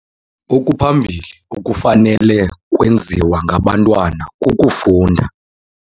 Okuphambili okufanele ukwenziwa ngabantwana kukufunda.